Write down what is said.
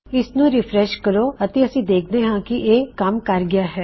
ਇਸਨੂੰ ਰਿਫਰੇਸ਼ ਕਰੋ ਅਤੇ ਅਸੀਂ ਦੇਖ ਸਕਦੇ ਹਾਂ ਕੀ ਇਹ ਇੱਛਾ ਅਨੁਸਾਰ ਕੰਮ ਕਰ ਗਇਆ ਹੈ